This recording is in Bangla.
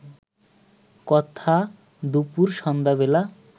কথা দুপুর সন্ধ্যা বেলা